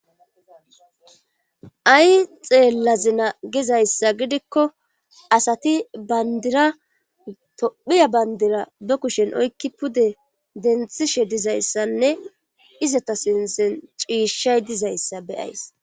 ay xeellazina gizayssa gidikko asati bandira tophiya bandira be kushen oykki pude denthishe dizayssanne izota sinsen ciishshay dizayssa beyaysi.